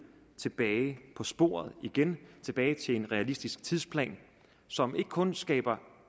tilbage på sporet igen tilbage til en realistisk tidsplan som ikke kun skaber